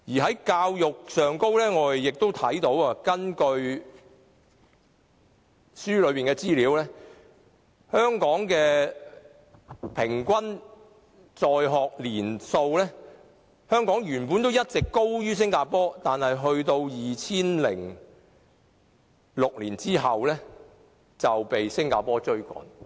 在教育方面，根據書中所述，就平均在學年數而言，香港原本一直高於新加坡，但在2006年後卻被新加坡趕上了。